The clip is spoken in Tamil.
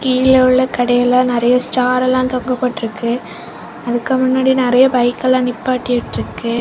கீழவுள்ள கடையில நறைய ஸ்டாரெல்லாம் தொங்க போட்ருக்கு. அதுக்கு முன்னாடி நறைய பைக்கெல்லாம் நிப்பாட்டி விட்டுருக்கு.